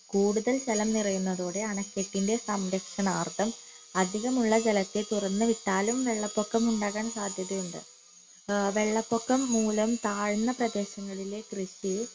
കൂടുതൽ ജലം നിറയുന്നതോടെ അണക്കെട്ടിന്റെ സംരക്ഷണാർത്ഥം അധികമുള്ള ജലത്തെ തുറന്നു വിട്ടാലും വെള്ളപൊക്കം ഉണ്ടാകാൻ സാധ്യതയുണ്ട് ഏർ വെള്ളപൊക്കം മൂല താഴ്ന്ന പ്രദേശങ്ങളിലെ കൃഷി